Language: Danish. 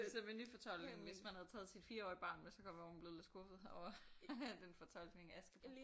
Det så med nyfortolkning hvis man havde taget sit 4-årige barn med så kan det godt være hun var blevet lidt skuffet over den fortolkning af Askepot